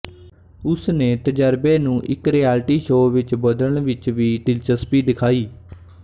ਉਸਨੇ ਤਜ਼ਰਬੇ ਨੂੰ ਇੱਕ ਰਿਐਲਿਟੀ ਸ਼ੋਅ ਵਿੱਚ ਬਦਲਣ ਵਿੱਚ ਵੀ ਦਿਲਚਸਪੀ ਦਿਖਾਈ